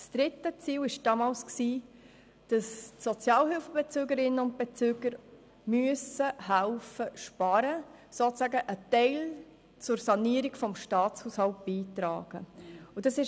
Das dritte Ziel war damals, dass die Sozialhilfebezügerinnen und Sozialhilfebezüger sparen helfen und sozusagen einen Teil an die Sanierung des Staatshaushalts beitragen müssen.